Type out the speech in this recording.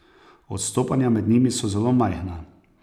Odstopanja med njimi so zelo majhna.